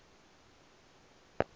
la u fha mirado ya